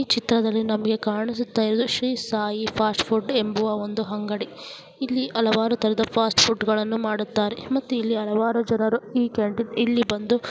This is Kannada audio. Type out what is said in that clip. ಈ ಚಿತ್ರದಲ್ಲಿ ನಮಗೆ ಕಾಣಿಸುತ್ತಿರುವುದು ಶ್ರೀ ಸಾಯಿ ಫಾಸ್ಟ್ ಫುಡ್ ಎಂಬುವ ಒಂದು ಅಂಗಡಿ. ಇಲ್ಲಿ ಹಲವಾರು ತರಹದ ಫಾಸ್ಟ್ ಫುಡ್ ಗಳನ್ನು ಮಾಡುತ್ತಾರೆ ಮತ್ತೆ ಇಲ್ಲಿ ಹಲವಾರು ಜನರು ಈ ಕ್ಯಾಂಟೀನ್ ಇಲ್ಲಿ ಬಂದು --